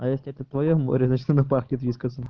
а если это твоё море значит оно пахнет вискасом